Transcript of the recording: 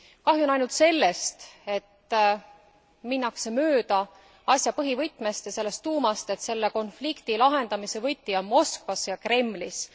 Kahju on ainult sellest, et minnakse mööda asja põhivõtmest ja selle tuumast selle konflikti lahendamise võti on Moskvas ja Kremlis.